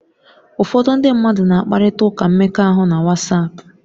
Ụfọdụ ndị mmadụ na-akparịta ụka mmekọahụ na Wasapu